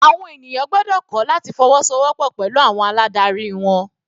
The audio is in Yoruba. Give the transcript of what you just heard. Àwọn ènìyàn gbọ́dọ̀ kọ́ láti fọwọ́so wọ́pọ̀ pẹ̀lú àwọn aládarí wọn.